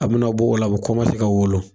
A bi na bɔ ola a bi kɔmanse ka wolo